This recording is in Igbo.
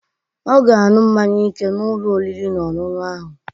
Ọ ga-aṅụ mmaṅya ike n'Ụlọ oriri na ọṅụṅụ ahu.